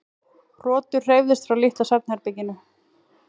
Hrotur heyrðust frá litla svefnherberginu.